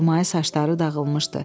Xurmayı saçları dağılmışdı.